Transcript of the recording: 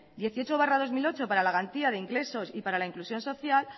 dieciocho barra dos mil ocho para la garantía de ingresos y para la inclusión social